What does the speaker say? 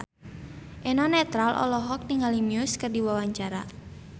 Eno Netral olohok ningali Muse keur diwawancara